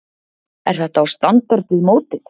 Er þetta á standard við mótið?